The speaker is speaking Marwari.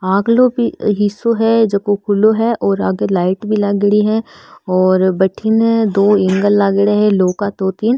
अग्लो भी हिशो है झको खुलो है और आगे लाइट भी लागेड़ी है और बठींन दो एंगल लागेडा है लोह का दो तीन।